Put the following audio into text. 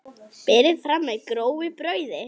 Berið fram með grófu brauði.